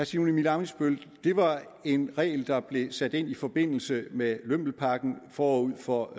simon emil ammitzbøll det var en regel der blev sat ind i forbindelse med lømmelpakken forud for